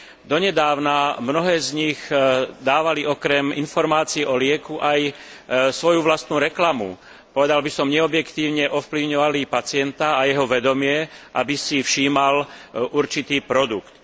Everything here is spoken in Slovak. Donedávna mnohé z nich dávali okrem informácií o lieku aj svoju vlastnú reklamu. Povedal by som, neobjektívne ovplyvňovali pacienta a jeho vedomie, aby si všímal určitý produkt.